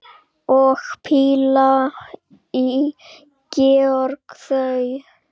Og píla í gegnum það!